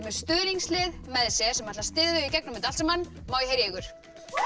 með stuðningslið með sér sem ætlar að styðja þau í gegnum þetta allt saman má ég heyra í ykkur